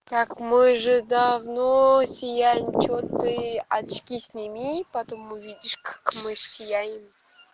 как мы же давно сияем что ты очки сними потом увидишь как мы сияем